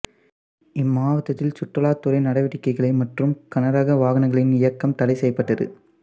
இம்மாவட்டத்தில் சுற்றுலாத்துறை நடவடிக்கைகள் மற்றும் கனரக வாகனங்களின் இயக்கம் தடை செய்யப்பட்டது